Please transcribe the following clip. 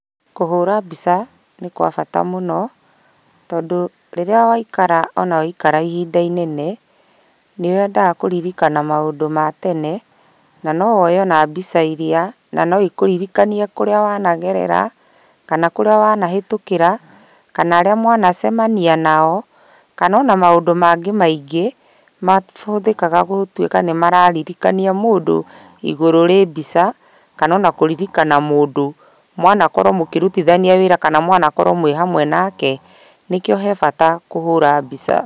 Kũhũra mbica nĩ kwa bata mũno, tondũ rĩrĩa waikara ona waikara ihinda inene, nĩwendaga kũririkana maũndũ ma tene, na nowoe ona iria, na noikũririkanie kũrĩa wanagerera, kana kũrĩa wanahĩtũkĩra, kana arĩa mwanacemania nao, kana ona maũndũ mangĩ maingĩ, mahũthĩkaga gũtuĩka nĩmararirikania mũndũ, igũrũ rĩ mbica, kana ona kũririkana mũndũ mwanakorwo mũkĩrutithania wĩra kana mwanakorwo mwĩhamwe nake, nĩkĩo he bata kũhũra mbica.